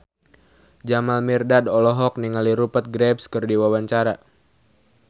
Jamal Mirdad olohok ningali Rupert Graves keur diwawancara